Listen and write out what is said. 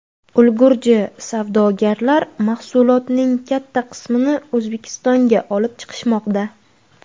Ulgurji savdogarlar mahsulotning katta qismini O‘zbekistonga olib chiqishmoqda.